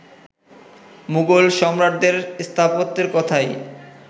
মুঘল সম্রাটদের স্থাপত্যের কথাই